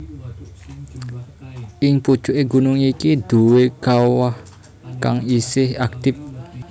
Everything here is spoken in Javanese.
Ing pucuké gunung iki duwé kawah kang isih aktif